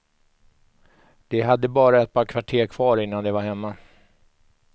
De hade bara ett par kvarter kvar innan de var hemma.